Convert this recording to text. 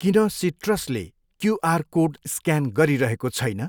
किन सिट्रसले QR code scan गरिरहेको छैन?